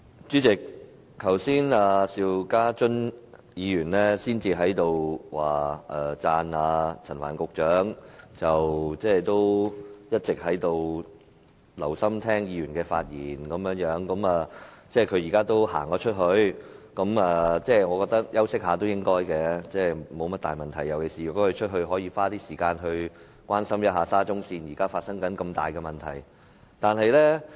主席，剛才邵家臻議員讚賞陳帆局長一直留心聆聽議員的發言，他現在離開了會議廳，我認為休息一會也是應該的，沒甚麼大問題，尤其是他外出後，可以花點時間關心沙中線現時發生的大問題。